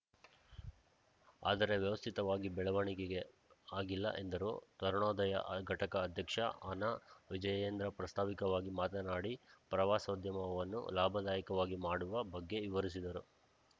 ಆದರೆ ವ್ಯವಸ್ಥಿತವಾಗಿ ಬೆಳವಣಿಗೆ ಆಗಿಲ್ಲ ಎಂದರು ತರುಣೋದಯ ಘಟಕ ಅಧ್ಯಕ್ಷ ಅನಾವಿಜಯೇಂದ್ರ ಪ್ರಸ್ತಾವಿಕವಾಗಿ ಮಾತನಾಡಿ ಪ್ರವಾಸೋದ್ಯಮವನ್ನು ಲಾಭದಾಯಕವಾಗಿ ಮಾಡುವ ಬಗ್ಗೆ ವಿವರಿಸಿದರು